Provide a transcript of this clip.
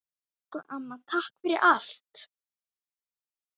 Elsku amma, takk fyrir allt!